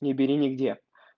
не бери нигде